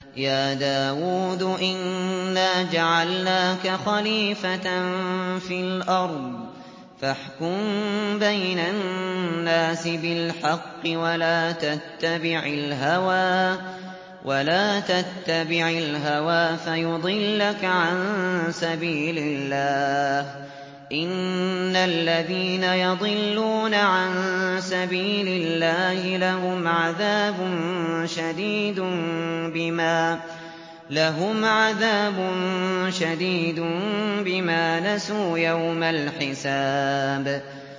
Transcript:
يَا دَاوُودُ إِنَّا جَعَلْنَاكَ خَلِيفَةً فِي الْأَرْضِ فَاحْكُم بَيْنَ النَّاسِ بِالْحَقِّ وَلَا تَتَّبِعِ الْهَوَىٰ فَيُضِلَّكَ عَن سَبِيلِ اللَّهِ ۚ إِنَّ الَّذِينَ يَضِلُّونَ عَن سَبِيلِ اللَّهِ لَهُمْ عَذَابٌ شَدِيدٌ بِمَا نَسُوا يَوْمَ الْحِسَابِ